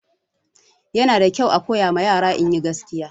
Yana da kyau a koyawa yara inyi gaskiya